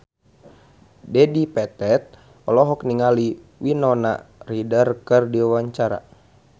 Dedi Petet olohok ningali Winona Ryder keur diwawancara